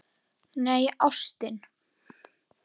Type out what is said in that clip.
Nei, ástin.